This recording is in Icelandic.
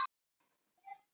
Hvað er þurr húð?